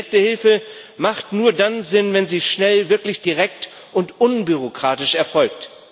Direkte Hilfe macht nur dann Sinn, wenn sie schnell, wirklich direkt und unbürokratisch erfolgt.